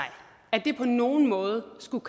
at det på nogen måde skulle